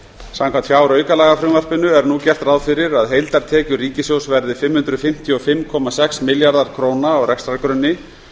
samkvæmt fjáraukalagafrumvarpinu er nú gert ráð fyrir að heildartekjur ríkissjóðs verði fimm hundruð fimmtíu og fimm komma sex milljarðar króna á rekstrargrunni